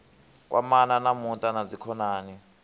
kwamana na muṱa na dzikhonani